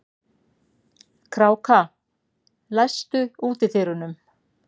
Kráka, læstu útidyrunum.